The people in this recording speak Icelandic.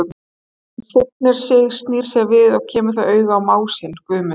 Hún signir sig, snýr sér við og kemur þá auga á mág sinn, Guðmund.